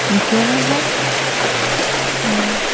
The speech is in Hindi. घेरा है और--